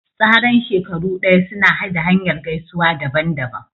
Tsaran shekaru daya suna da hanyar gaisuwa daban-daban.